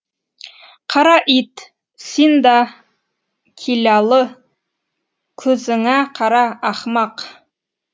қара ит син да киләлы күзіңә қара ахмақ